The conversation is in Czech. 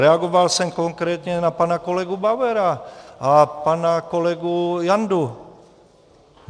Reagoval jsem konkrétně na pana kolegu Bauera a pana kolegu Jandu.